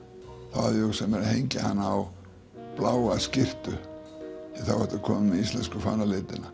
þá hafði ég hugsað mér að hengja hana á bláa skyrtu því þá ertu kominn með íslensku fánalitina